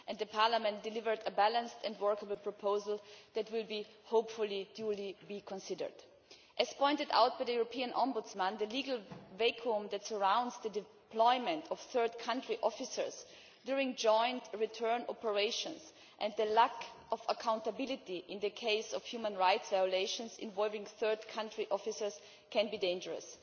Parliament has delivered a balanced and workable proposal that will, hopefully, duly be considered. As pointed out by the European Ombudsman, the legal vacuum that surrounds the deployment of third-country officers during joint return operations, and the lack of accountability in cases of human rights violations involving third country officers, can be dangerous.